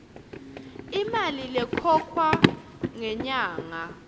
imali lekhokhwa ngenyanga